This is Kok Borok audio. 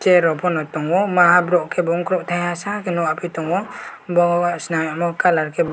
chair rok pono tongo maha borok kebo wngkorok taiha sake nog ya pi tongo bo washa nai colour kebo.